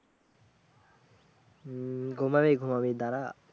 হম ঘুমাবি ঘুমা দাড়া